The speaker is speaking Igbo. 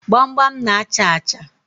Gbamgbam na-achà achà.